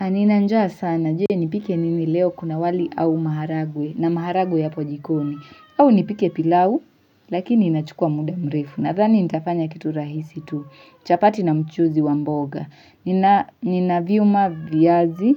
Na nina njaa sana je, nipike nini leo kuna wali au maharagwe na maharagwe yapo jikoni au nipike pilau lakini inachukua muda mrefu nadhani nitafanya kitu rahisi tu chapati na mchuzi wa mboga nina vyuma, viazi